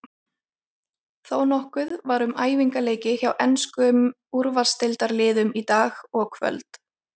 Þónokkuð var um æfingaleiki hjá enskum úrvalsdeildarliðum í dag og kvöld.